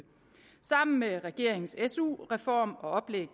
sammen med regeringens su reform og oplæg